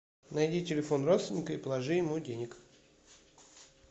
найди телефон родственника и положи ему денег